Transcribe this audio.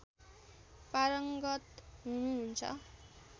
पारङ्गत हुनुहुन्छ